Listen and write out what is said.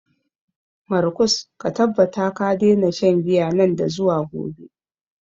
Markus, ka tabbata ka daina shan giya nan da zuwa gobe.